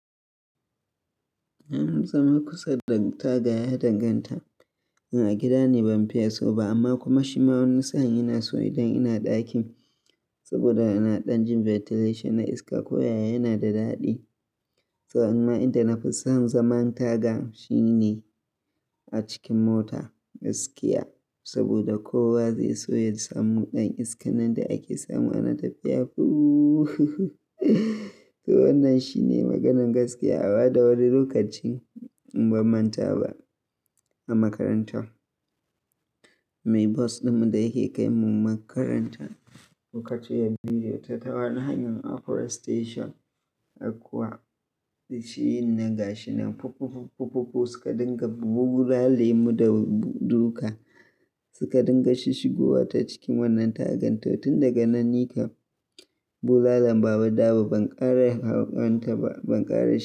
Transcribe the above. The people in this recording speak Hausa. Na nutse makusa da taga ya danganta. In a gida ne ban fiya so ba amma kuma shi ma wani nisan yana so idan ina ɗakin saboda ina ɗan jin ventilation na iska ko yaya yana da daɗi. Tsawon ma idan na fi san zaman taga shine a cikin mota, gaskiya saboda kowa zai so ya samu ɗan iska nan da ake samu ana tafiya. Fuuuu to wannan shi ne maganan gaskiya. A ba da wani lokacin in bamanta ba a makaranta. Mai bus ɗinmu da yake kai mu makaranta lokacin ya biyu da tawa hanyar upper station akwa shi yin na gashi nan pu-pu-pu-pu suka dinga bulale lemu da duka suka dinga shishigowa ta cikin wannan tagan. To tun daga nan ni kam bulalan ba a bada ba, ban ƙara hauƙanta ba, ban ƙara shi ba.